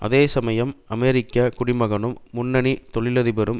அதே சமயம் அமெரிக்க குடி மகனும் முன்னணி தொழிலதிபரும்